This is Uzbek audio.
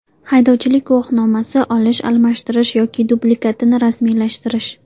Haydovchilik guvohnomasi: Olish, almashtirish yoki dublikatini rasmiylashtirish.